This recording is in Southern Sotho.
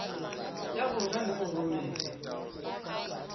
ya rona mme o romele